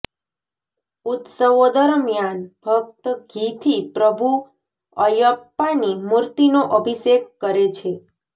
ઉત્સવો દરમિયાન ભક્ત ઘી થી પ્રભુ અયપ્પાની મૂર્તિનો અભિષેક કરે છે